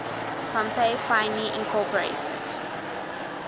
pompey finally incorporated